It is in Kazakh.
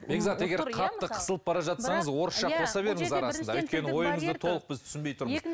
бекзат егер қатты қысылып бара жатсаңыз орысша қоса беріңіз арасында өйткені ойыңызды толық біз түсінбей тұрмыз